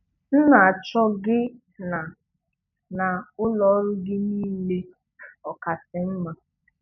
M na-achọ gị na na ụlọ ọrụ gị niile ọkasị mma. "